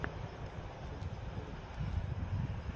последняя серия чечен канал